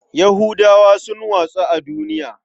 Yahudawa sun watsu a duniya.